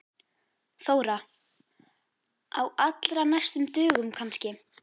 Þóra: Á allra næstu dögum kannski?